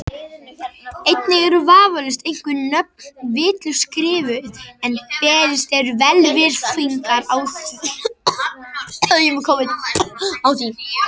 Einnig eru vafalaust einhver nöfn vitlaust skrifuð en beðist er velvirðingar á því.